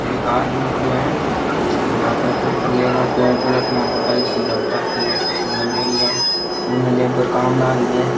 एक आदमी खड़ियो है बीरे हाथ में पेपर ले राख्यो है गले के माय गाल राखी है लगायोडी है बुने लेबर काम लाग रिया है।